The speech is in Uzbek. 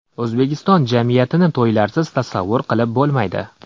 O‘zbekiston jamiyatini to‘ylarsiz tasavvur qilib bo‘lmaydi.